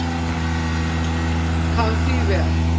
Kann því vel.